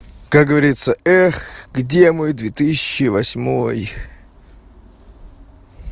как говорится где мой две тысячи восьмой